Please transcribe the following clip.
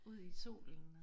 Ud i solen og